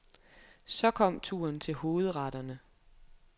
Så kom turen til hovedretterne.